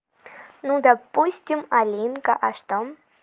ну допустим алинка а что